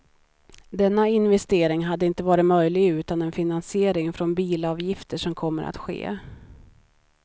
Denna investering hade inte varit möjlig utan den finansiering från bilavgifter som kommer att ske.